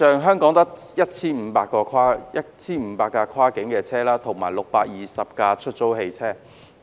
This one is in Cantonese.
香港現有 1,500 部跨境客運車輛，以及620部出租汽車。